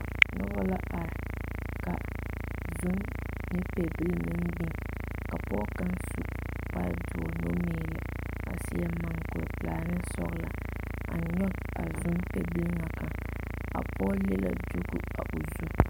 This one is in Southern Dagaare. Noba la are ka zom ne pɛbilii meŋ biŋ ka pɔge kaŋ su kpare doɔre numeelɛ a seɛ mukuri pelaa ne sɔgla a nyɔge zom pɛbilii ŋa a pɔge le diiko a o zu.